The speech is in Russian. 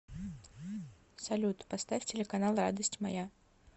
салют поставь телеканал радость моя